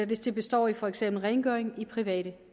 hvis det består i for eksempel rengøring i private